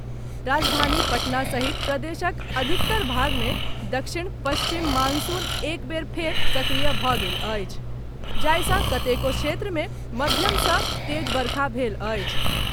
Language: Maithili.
राजधानी पटना सहित प्रदेशक अधिकतर भाग मे दक्षिण पश्चिम मॉनसून एक बेर फेर सक्रिय भऽ गेल अछि, जाहिसँ कतेको क्षेत्र मे मध्यमसँ तेज बरखा भेल अछि।